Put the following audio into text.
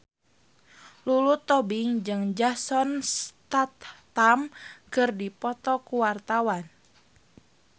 Lulu Tobing jeung Jason Statham keur dipoto ku wartawan